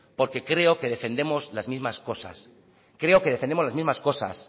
porque creo que defendemos las mismas cosas creo que defendemos las mismas cosas